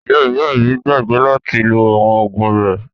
Ìyá ìyá mi gbàgbé láti lo àwọn oògùn rẹ̀.